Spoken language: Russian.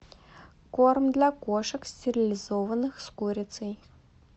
корм для кошек стерилизованных с курицей